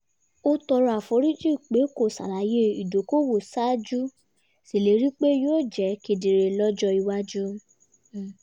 ó tọrọ àforíjì pé kò ṣàlàyé ìdókòwò ṣáájú ṣèlérí pé yóò jẹ́ kedere lọ́jọ́ iwájú